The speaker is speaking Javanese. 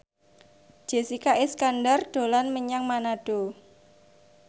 Jessica Iskandar dolan menyang Manado